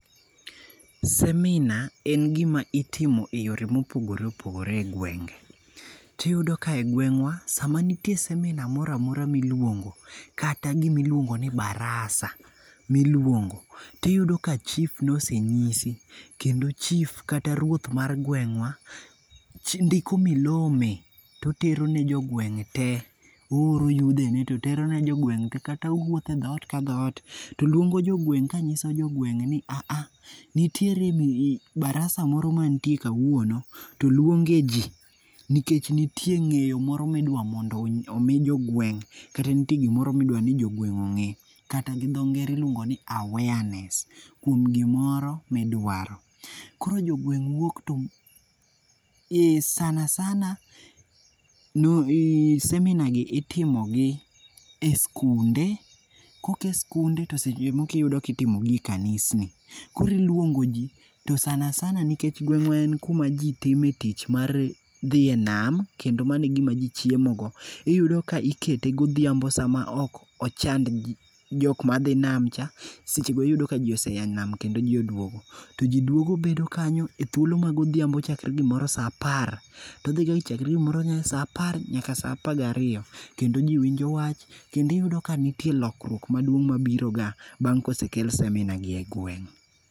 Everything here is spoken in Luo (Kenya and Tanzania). seminar en gima itimo eyore mopogore opogore egwenge. To iyudo ka egweng'wa sama nitie seminar moro amora miluongo, kata gima iluongo ni barasa, miluongo, to iyudo ka chief nosenyisi kendo chief kata ruoth mar gweng'wa ndiko milome to otero ne jogweng' te ooro yudhene to tero ne jogweng' te kata wuotho e dhoot ka dhoot to luongo jogweng' ka nyiso jogweng' ni a a nitiere barasa moro mantie kawuono to oluongie ji nikech nitie ng'eyo moro midwa mondo omi jogweng' kata nitie gimoro midwa ni jogweng' ong'e kata gi dho ngere iluongo ni awareness kuom gimoro midwaro. Koro jogweng' wuok to ee sana sana, seminar itimogi e sikunde kaok sikunde to seche moko itimogi e kanisni. Koro iluongo ji to sana sana nikech gweng'wa en kuma ji time tich mar dhi enam, kendo mano e gima ji chiemogo. iyudo ka ikete godhiambo sama ok ochand ji, ji jok madhi nam ka seche go yudo kajinose aa e nam kendo jki ose duogo. Ti ji douogo bedo kanyo e thuolo ma godhiambo chakre gimoro saa apar to odhi nyaka gimoro saa apar nyaka saa apar gariyo. Kendo ji winjo wach kendo iyudo ka nitie lokruok maduong' mabiroga bang' kosekel seminar gi egweng'.